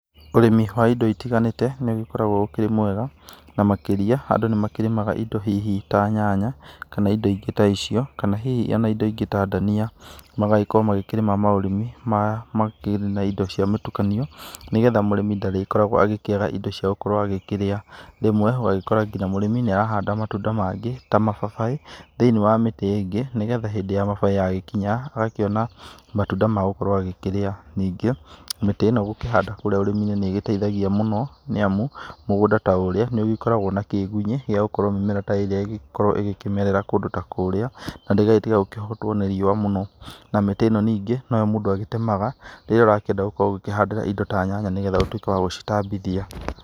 Ũrĩmi wa indo itiganĩte nĩgũkoragwo ũkĩrĩ mwega, na makĩria andũ nĩmakĩrĩmaga indo hihi ta nyanya, kana indo ingĩ ta icio kana hihi indo ta ndania, magagĩkorwo makĩrĩma maũrĩmi wa ũtukanio nĩgetha mũrĩmi ndagĩkoragwo agĩkĩaga indo ciagũkĩrĩa, rĩmwe ũragĩkora nginya mũrĩmi nĩarahanda matunda mangĩ ta mababaĩ, thĩinĩ wa mĩtĩ ĩngĩ nĩgetha hĩndĩ ya mababaĩ yakinya agakĩona matunda magũkorwo magĩkĩrĩa ,ningĩ mĩtĩ ĩno gũkĩhanda nĩgĩteithagia mũno, nĩamu mũgũnda ta ũrĩa nĩũkoragwa na kĩgunyĩ yagũkorwo mĩmera ta ĩno ĩgĩkĩmetra kũndũ ta kũrĩa, na nĩgetha ĩtĩkahotuo nĩriũa mũno, na mĩtĩ ĩno ningĩ omũndũ nĩagĩtemaga rĩrĩa ũrakĩenda gũkĩhandĩra indo ta nyanya nĩgetha ũtuĩke wa gũcitambithia.